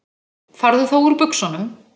Farðu þá úr buxunum.